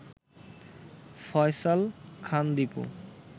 Faisal Khan Dipu